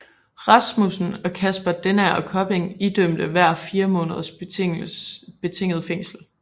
Rasmussen og Kasper Denager Kopping idømtes hver fire måneders betinget fængsel